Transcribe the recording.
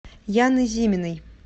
яны зиминой